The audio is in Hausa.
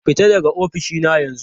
Fita daga ofishina yanzu!